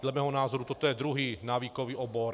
Dle mého názoru toto je druhý návykový obor.